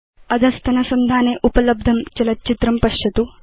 अधस्तनसंधाने उपलब्धं चलच्चित्रं पश्यतु